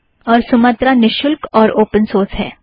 और सुमत्रा निशुल्क और ओपन सोर्स है